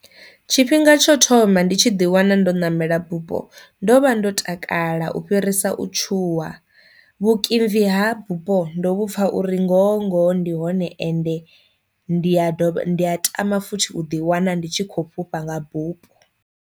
Tshifhinga tsho thoma ndi tshi ḓi wana ndo ṋamela bupho ndo vha ndo takala u fhirisa u tshuwa, vhukimvi ha bupho ndo vhupfha uri ngoho ngoho ndi hone ende ndi ya dovha ndi a tama futhi u ḓi wana ndi tshi khou fhufha nga bupho.